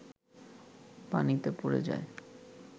পানিতে পড়ে যায়